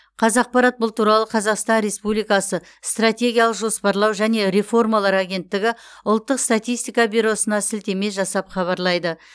қазапарат бұл туралы қазақстан республикасы стратегиялық жоспарлау және реформалар агенттігі ұлттық статистика бюросына сілтеме жасап хабарлайды